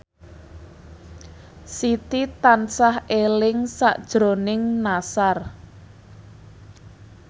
Siti tansah eling sakjroning Nassar